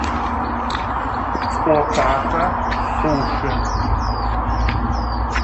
отака суши